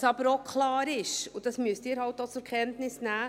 Was aber auch klar ist, und das müssen Sie eben auch zur Kenntnis nehmen: